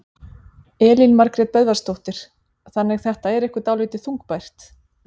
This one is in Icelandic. Elín Margrét Böðvarsdóttir: Þannig þetta er ykkur dálítið þungbært?